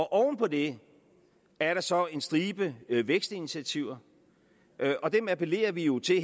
oven på det er der så en stribe vækstinitiativer og dem appellerer vi jo til